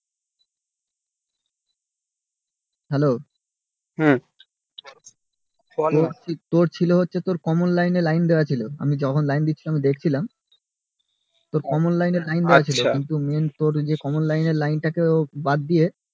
hello hmm তোর ছিল হচ্ছে তোর common লাইন এ লাইন দেওয়া ছিল আমি যখন লাইন দিচ্ছিলাম দেখছিলাম তোর common লাইন এ দেয়া ছিল main তোর common লাইন এ লাইন টাকে বাদ দিয়ে